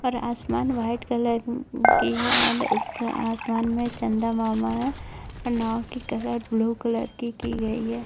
और आसमान white colour की है और आसमान में चंदा मामा है और नाओ की कलर ब्लू कलर की की गई है।